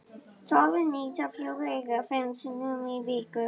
Soðin ýsa fjórum eða fimm sinnum í viku.